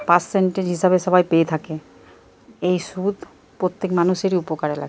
পার্সেন্টেজে হিসাবে সবাই পেয়ে থাকে এই সুদ প্রত্যেক মানুষেরই উপকারে লা--